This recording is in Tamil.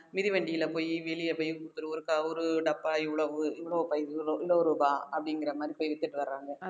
மிதிவண்டியில போயி வெளியே போய் ஒருக்கா ஒரு டப்பா இவ்வளவு இவ்வளவு இவ்வளவு இவளோ ரூபா அப்படிங்கிற மாதிரி போய் வித்துட்டு வர்றாங்க